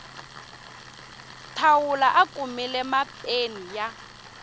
thawula a kumile mapeni ya